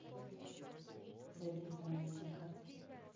зайди в данный заказ